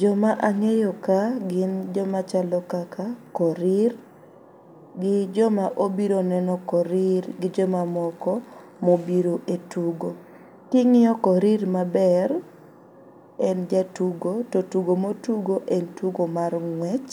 Joma ang'eyo ka gin joma chalo kaka Korir gi joma obiro neno Korir gi jomamoko mobiro e tugo. king'iyo Korir maber ,en jatugo to tugo motugo en tugo mar ng'wech,